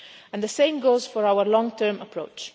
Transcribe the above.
And the same goes for our long term approach.